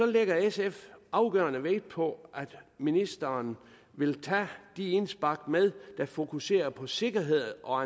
lægger sf afgørende vægt på at ministeren vil tage de indspark med der fokuserer på sikkerhed og